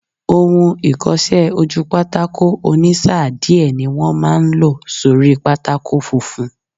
Ohun ìkọsẹ́-ojúpátákó ònísáà díẹ̀ ní wọ́n máa n lò sórí pátákó funfun